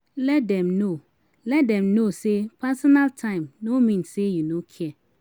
Let dem no Let dem no say personal time no mean say you no care